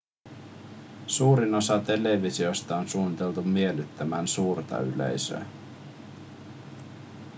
suurin osa televisioista on suunniteltu miellyttämään suurta yleisöä